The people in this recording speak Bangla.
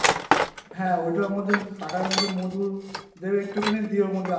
হ্যাঁ ওইটার মধ্যে টাকার মধ্যে মধু দেবে একটুখানি দিয়ে ওর